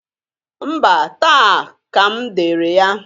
Mba! Taa ka m dere ya.